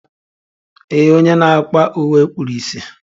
Ee, onye na akwa uwe kpuru ìsì